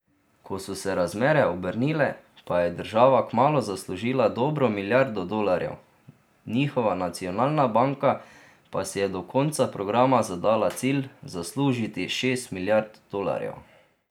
Ko so se razmere obrnile, pa je država kmalu zaslužila dobro milijardo dolarjev, njihova nacionalna banka pa si je do konca programa zadala cilj zaslužiti šest milijard dolarjev.